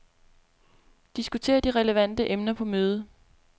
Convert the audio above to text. Diskuter de relevante emner på mødet.